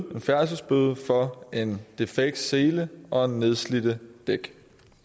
færdselsbøde for en defekt sele og nedslidte dæk